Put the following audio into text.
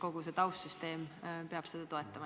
Kogu taustsüsteem peab seda toetama.